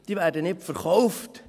Diese werden nicht verkauft.